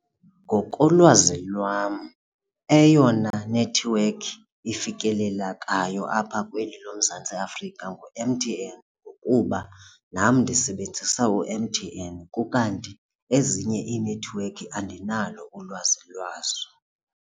Ngokolwazi lwam eyona nethiwekhi ifikelelekayo apha kweli loMzantsi Afrika ngu-M_T_N ngokuba nam ndisebenzisa u-M_T_N ukanti ezinye iinethiwekhi andinalo ulwazi lwazo.